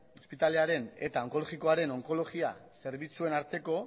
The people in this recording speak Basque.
ospitalearen eta onkologikoaren onkologia zerbitzuen arteko